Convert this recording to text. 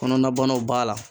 Kɔnɔnabanaw b'a la